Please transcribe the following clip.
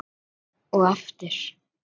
Og aftur.